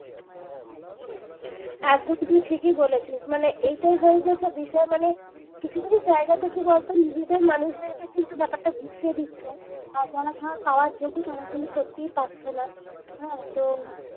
একদম তুমি ঠিকই বলেছো, মানে এইটাই হয়ে গেছে বিষয় মানে কিছু কিছু জায়গা দেখে বলতো নিজেদের মানুষদেরকে কিন্তু ব্যাপারটা গুছিয়ে দিচ্ছে, আর যারা ভাব পাওয়ার যোগ্যতা রাখে না সত্যি পাচ্ছে না আর তো